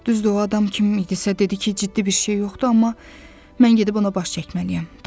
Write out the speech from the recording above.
Düzdür o adam kim idisə dedi ki, ciddi bir şey yoxdur, amma mən gedib ona baş çəkməliyəm.